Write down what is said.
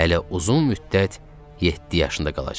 Hələ uzun müddət yeddi yaşında qalacaqdı.